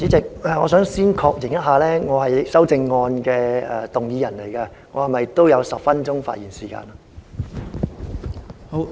代理主席，我想先確認一下。我是修正案的動議人，我是否也有10分鐘發言時間？